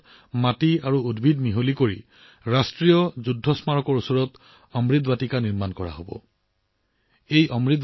৭৫০০ কলহত অহা মাটি আৰু গছগছনি মিহলাই ৰাষ্ট্ৰীয় যুদ্ধ স্মাৰকৰ সমীপত নিৰ্মাণ কৰা হব অমৃত বাটিকা